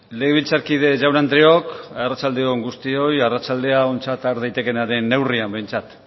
legebiltzarkide jaun andreok arratsalde on guztioi arratsaldea ontzat har daitekenaren neurrian behintzat